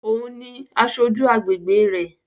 Ó òun ni aṣojú agbègbe rẹ̀